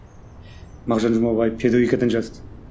мағжан жұмабаев педагогикадан жазды